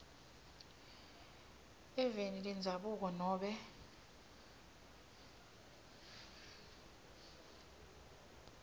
eveni lendzabuko nobe